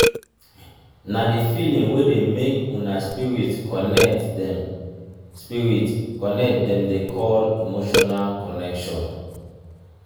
na di feeling wey dey make una spirit connect dem spirit connect dem dey call emotional connection.